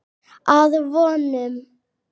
Að vonum.